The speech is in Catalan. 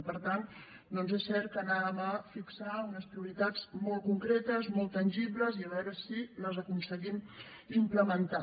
i per tant doncs és cert que anàvem a fixar unes prioritats molt concretes molt tangibles i a veure si les aconseguim implementar